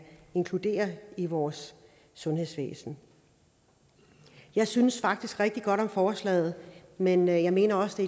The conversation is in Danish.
inkluderes i vores sundhedsvæsen jeg synes faktisk rigtig godt om forslaget men jeg mener også